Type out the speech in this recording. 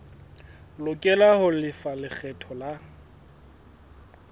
lokela ho lefa lekgetho la